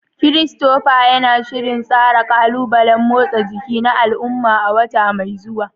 Christopher yana shirin tsara ƙalubalen motsa jiki na al'umma a wata mai zuwa.